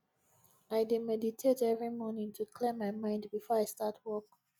i dey meditate every morning to clear my mind before i start work